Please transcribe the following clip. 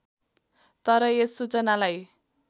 तर यस सूचनालाई